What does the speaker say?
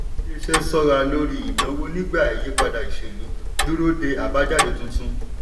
iléeṣẹ́ ṣọ́ra lórí ìnáwó nígbà ìyípadà ìṣèlú dúró de àbájáde tuntun.